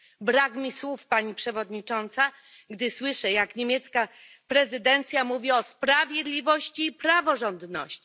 Brak mi słów, Pani Przewodnicząca, gdy słyszę, jak niemiecka prezydencja mówi o sprawiedliwości i praworządności.